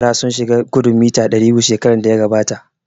Yara sun shiga gudun mita ɗari biyu shekaran da ya gabata